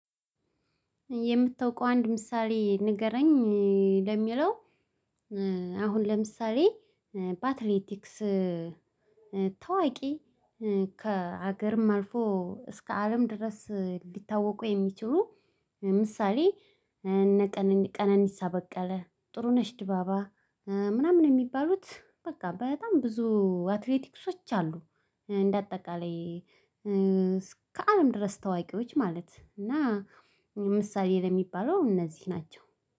የምታውቀው አንድ ምሳሌ ንገረኝ። ለሚለው አሁን ለምሳሌ በአትሌቲክስ ታዋቂ ከሀገርም አልፎ እስከ አለም ድረስ ሊታወቁ የሚችሉ ምሳሌ። ቀነኒሳ በቀለ ጥሩነሽ ዲባባ ምናምን የሚባሉት በቃ በጣም ብዙ አትሌቲክሶች አሉ። እንደ አጠቃላይ ከአለም ድረስ ታዋቂዎች ማለት እና ምሳሌ ለሚባለው እነዚህ ናቸው።